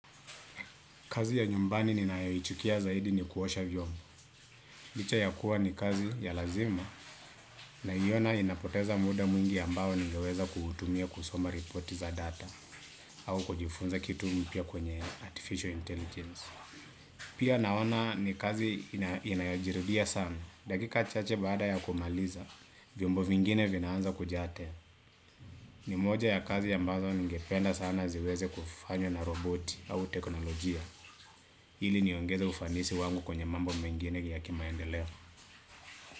Kazi ya nyumbani ninayoichukia zaidi ni kuosha vyombo. Licha ya kuwa ni kazi ya lazima naiona inapoteza muda mwingi ambao ningeweza kuutumia kusoma repoti za data. Au kujifunza kitu mpya kwenye artificial intelligence. Pia naona ni kazi inayojirudia sana. Dakika chache baada ya kumaliza, vyombo vingine vinaanza kujaa. Ni moja ya kazi ambazo ningependa sana ziweze kufanywa na roboti au teknolojia. Hili niongeze ufanisi wangu kwenye mambo mengine yakimaendeleo.